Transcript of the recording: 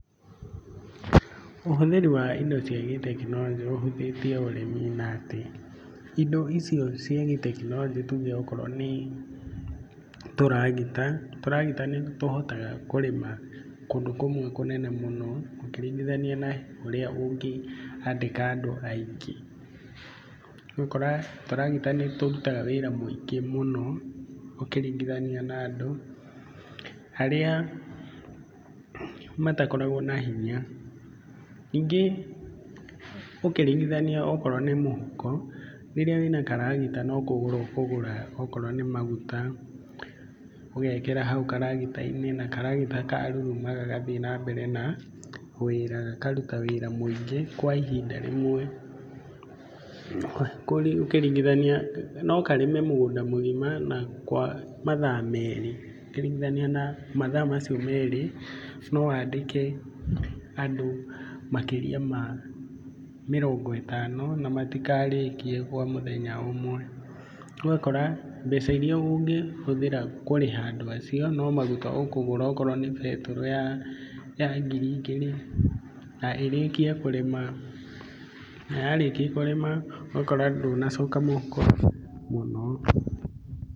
Ũhũthĩri wa indo cia gĩ tekinoronjĩ ũhũthĩtie ũrĩmi na atĩ, indo icio cia gĩ tekinoronjĩ tuge akorwo nĩ tũragita. Tũragita nĩ tũhotaga kũrĩma kũndũ kũmwe kũnene mũno, ũkĩringithania na ũrĩa ũngĩandĩka andũ aingĩ. Nĩ ũgũkora tũragita nĩ tũrutaga wĩra mũingĩ mũno, ũkĩringithania na andũ harĩa matakoragwo na hinya. Ningĩ ũkĩringithania okorwo na mũhuko, rĩrĩa wĩna karagita no kũgũra akorwo nĩ maguta ũgekera hau karagita-inĩ, na karagita karuruma ũgathiĩ na mbere na wĩra, gakaruta wĩra mũingĩ kwa ihinda rĩmwe. Koguo ũkĩringithania no karĩme mũgũnda mũgima na kwa mathaa merĩ ũkĩringithania mathaa macio merĩ na wandĩke andũ, makĩria ma mĩrongo ĩtano na matikarĩkiĩ kwa mũthenya ũmwe. Ũgakora mbeca irĩa ũngĩhũthĩrire kũrĩha andũ acio no maguta ũkũgũra ,okorwo nĩ betũrũ ya, ya ngiri igĩrĩ, na ĩrĩkie kũrĩma, na yarĩkia kũrĩma ũgakora ndũnacoka mũhuko mũno.